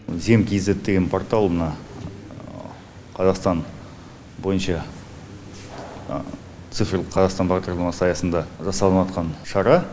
зем кизед деген портал мына қазақстан бойынша цифрлық қазақстан бағдарламасы аясында жасалыныватқан шара